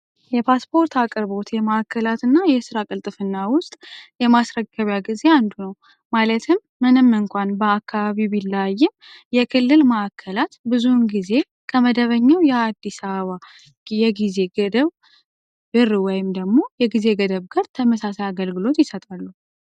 የፓስፖርት አቅርቦት የማዕከላትና የስራ ቅልጥፍና ውስጥ የማስረገቢያ ጊዜ ምንም እንኳን በአካባቢ ቢላየም የክልል ማእከላት ብዙ ጊዜ ከመደበኛው የአዲስ አበባ ይም ደግሞ የጊዜ ገደብ ጋር ተመሳሳይ አገልግሎት ይሰጥሉ